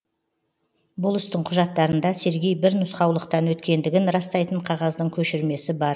бұл істің құжаттарында сергей бір нұсқаулықтан өткендігін растайтын қағаздың көшірмесі бар